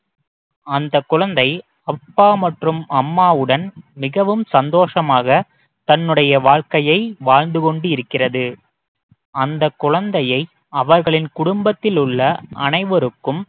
அந்த குழந்தை அப்பா மற்றும் அம்மாவுடன் மிகவும் சந்தோஷமாக தன்னுடைய வாழ்க்கையை வாழ்ந்து கொண்டிருக்கிறது அந்த குழந்தையை அவர்களின் குடும்பத்தில் உள்ள அனைவருக்கும்